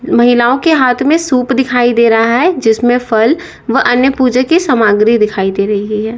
महिलाओं के हाथ में सूप दिखाई दे रहा है जिसमें फल वह अन्य पूजा की सामग्री दिखाई दे रही है।